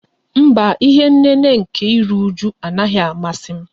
Mba, ihé nnéné nkè írú újú a naghị amasị m